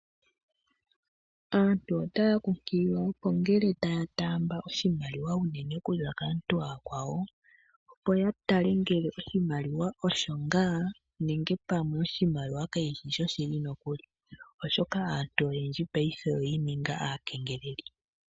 Aantu otaya kunkililwa opo ngele taya taamba oshimaliwa uunene okuza kaantu aakwawo opo ya tale ngele oshimaliwa osho ngaa nenge pamwe oshimaliwa kashishi sho shili nokuli, oshoka aantu oyendji paife oyiininga aakengeleli.